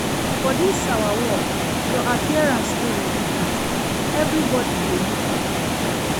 For dis our work, your appearance dey important, everbodi dey look you.